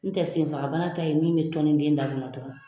N tɛ senfaga bana ta ye min bɛ tɔnin den da kɔnɔ dɔrɔn